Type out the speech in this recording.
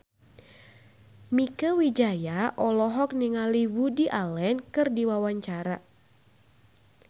Mieke Wijaya olohok ningali Woody Allen keur diwawancara